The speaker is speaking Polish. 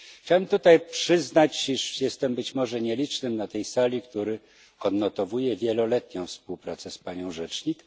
Chciałbym tutaj przyznać, iż jestem być może nielicznym na tej sali, który odnotowuje wieloletnią współpracę z panią rzecznik.